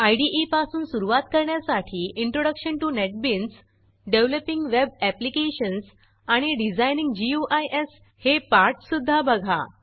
इदे पासून सुरूवात करण्यासाठी introduction to NetBeans developing web applications आणि डिझाइनिंग गुइस हे पाठ सुध्दा बघा